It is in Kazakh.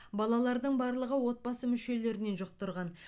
балалардың барлығы отбасы мүшелерінен жұқтырған